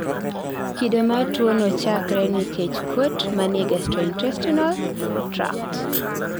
kido mag tuwono chakre nikech kuot manie gastrointestinal tract